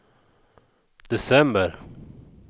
december